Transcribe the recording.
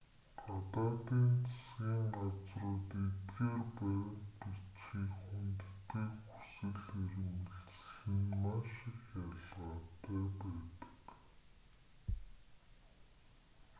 гадаадын засгийн газрууд эдгээр баримт бичгийг хүндэтгэх хүсэл эрмэлзэл нь маш их ялгаатай байдаг